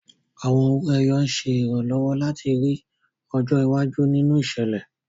Àwọn owó ẹyọ ń ṣe ìrànlọ́wọ́ láti rí ọjọ́ iwájú nínú ìṣẹ̀lẹ̀.